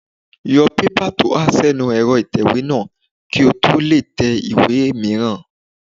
Yọ pépà tó há sínu ẹ̀rọ ìtẹ̀wé náà kí o tó lè tẹ ìwé è mìíràn